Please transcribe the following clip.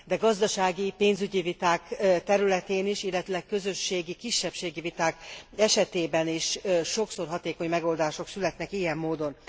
De gazdasági, pénzügyi viták területén is, illetőleg közösségi, kisebbségi viták esetében is sokszor hatékony megoldások születnek ilyen módon.